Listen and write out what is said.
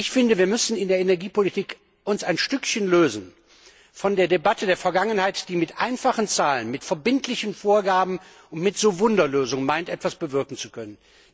Ich finde, wir müssen uns in der Energiepolitik ein Stückchen lösen von der Debatte der Vergangenheit, die mit einfachen Zahlen, mit verbindlichen Vorgaben und mit Wunderlösungen meint, etwas bewirken zu können.